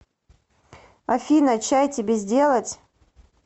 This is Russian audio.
афина чай тебе сделать